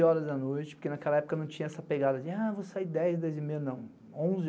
onze horas da noite, porque naquela época não tinha essa pegada de, ah, vou sair dez, dez e meia, não.